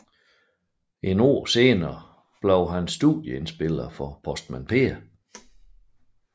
Et år senere lavede hun studieindspilninger for Postmand Per